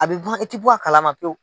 A bɛ ban e tɛ bɔ a kalama pewu.